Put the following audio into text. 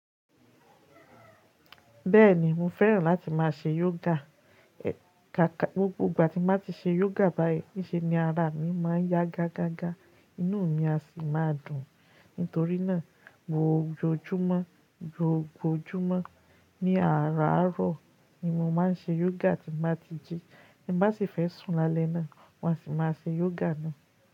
Bẹ́ẹ̀ni, mo fẹ́ràn láti má a ṣe yoga. Kàkà gbogbo ìgbà tí má ti ṣe yoga báyìí ni ṣe ni ara mi má a yá gágá, inú mi a sì má a dùn. Nítorínà gbogbo ojúmọ́, gbogbo ojúmọ́ ní àárarọ̀ ni mo má a ń ṣe yoga tí má ti jí. Bí màá sì fẹ́ sùn lálẹ́ náà, màá sì má a ṣe yoga náà.